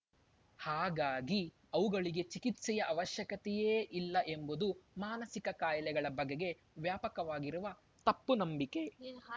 ಹಾಗಾಗಿ ಅವುಗಳಿಗೆ ಚಿಕಿತ್ಸೆಯ ಅವಶ್ಯಕತೆಯೇ ಇಲ್ಲ ಎಂಬುದು ಮಾನಸಿಕ ಕಾಯಿಲೆಗಳ ಬಗೆಗೆ ವ್ಯಾಪಕವಾಗಿರುವ ತಪ್ಪು ನಂಬಿಕೆ ಯೇ